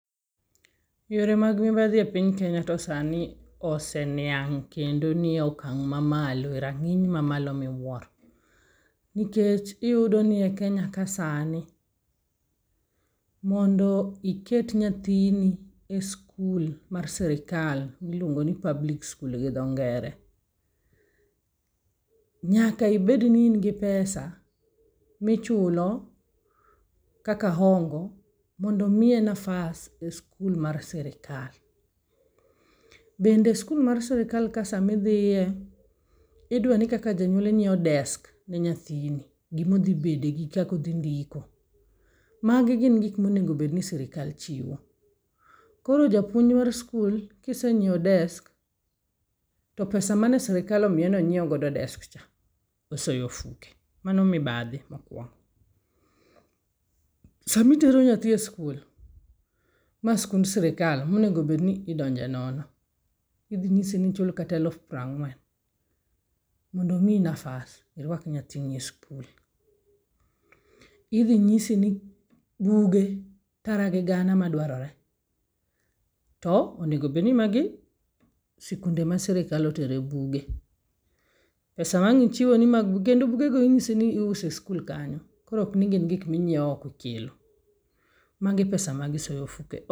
Yore mag mibadhi e piny Kenya to sani ose niang' kendo ni e okang' mamalo e raning' mamalo miwuoro nikech yudo ni e Kenya ka sani mondo iket nyathini e sikul mar sirkal miluongo ni public school gi dho ngere, nyaka ibed ni in gi pesa michulo kaka hongo mondo miye nafas e sikul mar sirkal. Bende skul mar sirkal ka sama idhiye idwaroni kaka janyuol inyiewo desk ne nyathini, gima odhi bede gi kaka odhi ndiko. Magi gin gik monego bed ni sirkal chiwo. Koro japuonj mar sikul ka isenyiewo desk, to pesa mane sirkal omiiye ni nyiew godo desk cha osoyo e ofuke. Mano mibadhi mokuongo. Sama itero nyathi e sikul ma en sikund sirka monego bed ni idonje nono, idhi nyisi ni ichul kata eluf pieroang'wen mondo miyi nafas iruak nyathini e sikul. Idhi nyisi ni buge tara gi gana madwarore to onego bedni magi sikunde ma sirkal otere buge. pesa ma ang' ichiwo ni mag bugeno kendo bugego inyisi ni iuso e sikul kanyo koro ok ni gin gik ma inyiewo oko ikelo. Magi pesa magisoyo ofukegi.